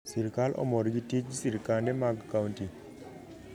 Sirkal omor gi tij sirkande mag kaunti